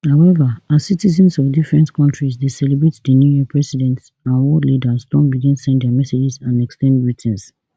howeva as citizens of different kontris dey celebrate di new year presidents and world leaders don begin send dia messages and ex ten d greetings